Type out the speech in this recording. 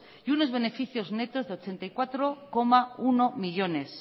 y unos beneficios netos de ochenta y cuatro coma uno millónes